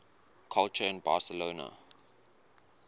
culture in barcelona